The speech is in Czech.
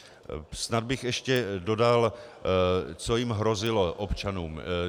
Snad bych ještě dodal, co jim hrozilo, občanům.